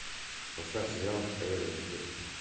поставь сериал эйр гир